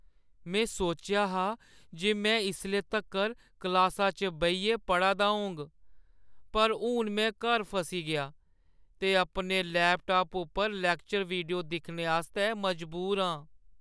में सोचेआ हा जे में इसले तक्कर क्लासा च बेहियै पढ़ा दा होङ, पर हून में घर फसी गेआं ते अपने लैपटाप उप्पर लैक्चर वीडियो दिक्खने आस्तै मजबूर आं।